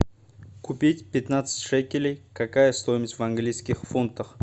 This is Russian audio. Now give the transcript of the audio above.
купить пятнадцать шекелей какая стоимость в английских фунтах